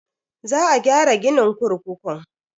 Za a gyara ginin kurkukun.